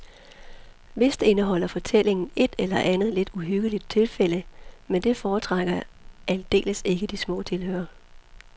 Vist indeholder fortællingen et eller andet lidt uhyggeligt tilfælde, men det forskrækker aldeles ikke de små tilhørere.